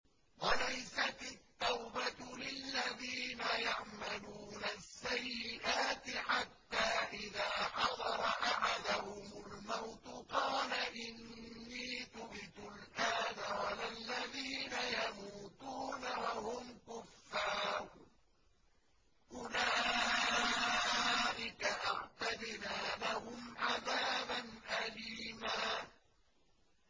وَلَيْسَتِ التَّوْبَةُ لِلَّذِينَ يَعْمَلُونَ السَّيِّئَاتِ حَتَّىٰ إِذَا حَضَرَ أَحَدَهُمُ الْمَوْتُ قَالَ إِنِّي تُبْتُ الْآنَ وَلَا الَّذِينَ يَمُوتُونَ وَهُمْ كُفَّارٌ ۚ أُولَٰئِكَ أَعْتَدْنَا لَهُمْ عَذَابًا أَلِيمًا